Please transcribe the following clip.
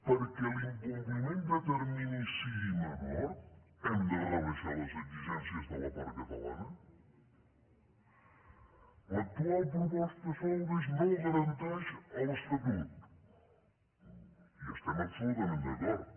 perquè l’incompliment de terminis sigui menor hem de rebaixar les exigències de la part catalana l’actual proposta solbes no garanteix l’estatut hi estem absolutament d’acord